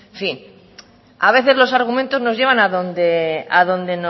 en fin a veces los argumentos nos llevan a donde